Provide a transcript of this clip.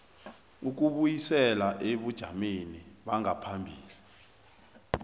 ukubuyisela ebujameni bangaphambilini